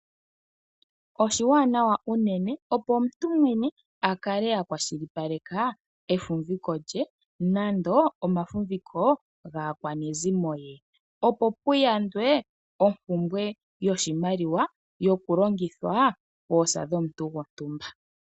Oshiwaanawa unene opo omuntu mwene a kale a kwashilipaleka efumviko lye nenge omafumviko gaakwanezimo lye. Opo kuyandwe ompumbwe yoshimaliwa, yokulongithwa poosa dhomuntu gwontumba.